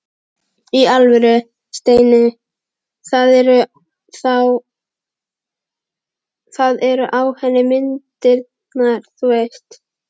Í alvöru, Steini. það eru á henni myndirnar þú veist.